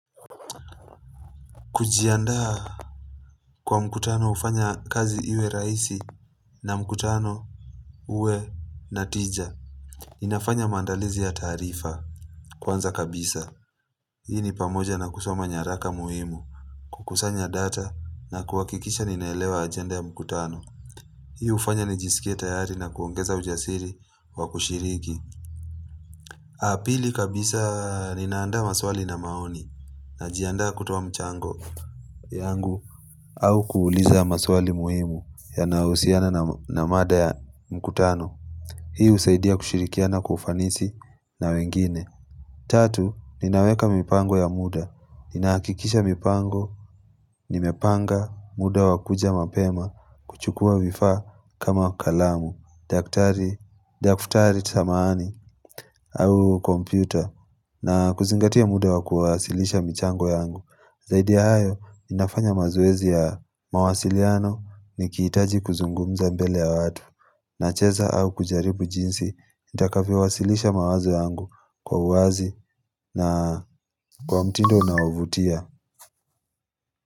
Kujiandaa kwa mkutano hufanya kazi iwe rahisi na mkutano uwe na tija Ninafanya mandalizi ya tarifa kwanza kabisa Hii ni pamoja na kusoma nyaraka muhimu kukusanya data na kuwahikikisha ninaelewa agenda ya mkutano Hii hufanya ni jisikia tayari na kuongeza ujasiri wa kushiriki pili kabisa ninaandaa maswali na maoni na jiandaa kutuoa mchango yangu au kuuliza maswali muhimu yanaohusiana na mada ya mkutano Hii usaidia kushirikiana kufanisi na wengine Tatu, ninaweka mipango ya muda Ninahakikisha mipango, nimepanga muda wakuja mapema kuchukua vifaa kama kalamu, daktari, daftari samahani au kompyuta na kuzingatia muda wakuasilisha mchango yangu Zaidi ya hayo, nafanya mazoezi ya mawasiliano nikihitaji kuzungumza mbele ya watu nacheza au kujaribu jinsi, nitakavyowasilisha mawazo yangu kwa uwazi na kwa mtindo unao vutia.